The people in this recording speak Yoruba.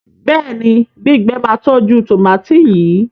béèni gbígbé má tọjú tomati yí.